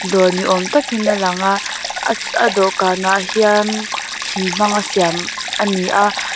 dawr ni awm tak in a lang a a a dawhkan ah hian thing hmanga siam a ni a.